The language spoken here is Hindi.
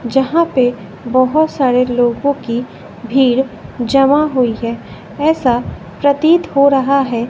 यहां पे बहुत सारे लोगों की भीड़ जमा हुई है ऐसा प्रतीत हो रहा है।